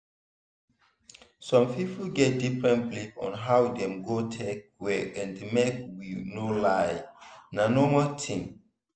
some people get different belief on how dem go take well and make we no lie na normal thing.